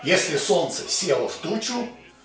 если солнце село в тучу